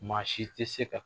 Maa si tɛ se ka